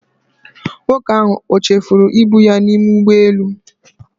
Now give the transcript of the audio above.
Nwoke ahụ o chefuru ibu ya n'ime ụgbọelu?